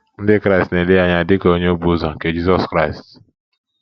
Ndị Kraịst na - ele ya anya dị ka onye obu ụzọ nke Jizọs Kraịst.